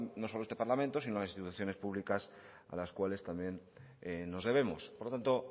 no solo este parlamento sino instituciones públicas a las cuales también nos debemos por lo tanto